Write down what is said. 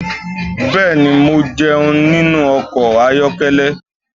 Bẹ́ẹ̀ni, mo jẹun nínú ọkọ̀ ayọ́kẹ́lẹ́.